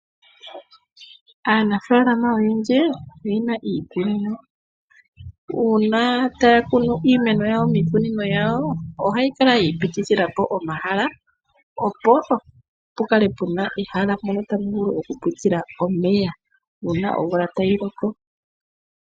Aanafaalama oyendji oyena iikunino, uuna taya kunu iimeno yawo miikunino yawo ohayi kala yi ipitithila po omahala opo pu kale pu na ehala mpono tapu vulu okupitila omeya uuna omvula tayi loko.